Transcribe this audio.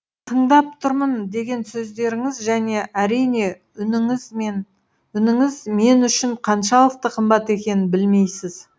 тыңдап тұрмын деген сөздеріңіз және әрине үніңіз мен үшін қаншалықты қымбат екенін білмейсіз